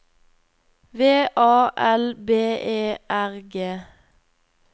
V A L B E R G